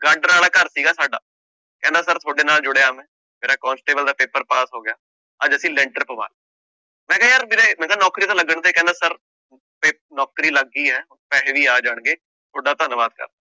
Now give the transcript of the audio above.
ਗਾਡਰ ਵਾਲਾ ਘਰ ਸੀਗਾ ਸਾਡਾ, ਕਹਿੰਦਾ ਸਰ ਤੁਹਾਡੇ ਨਾਲ ਜੁੜਿਆ ਮੈਂ ਮੇਰਾ ਕੋਂਸਟੇਬਲ ਦਾ ਪੇਪਰ ਪਾਸ ਹੋ ਗਿਆ, ਅੱਜ ਅਸੀਂ ਲੈਂਟਰ ਪਵਾ, ਮੈਂ ਕਿਹਾ ਯਾਰ ਵੀਰੇ ਮੈਂ ਕਿਹਾ ਨੌਕਰੀ ਤਾਂ ਲੱਗਣ ਦੇ ਕਹਿੰਦਾ ਸਰ ਵੀ ਨੌਕਰੀ ਲੱਗ ਗਈ ਹੈ, ਪੈਸੇ ਵੀ ਆ ਜਾਣਗੇ ਤੁਹਾਡਾ ਧੰਨਵਾਦ ਕਰਦਾਂ।